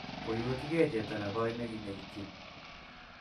Koiwekchigey chepto negoi neginekityin.